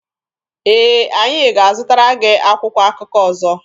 Ee, anyị ga-azụtara gị akwụkwọ akụkọ ọzọ.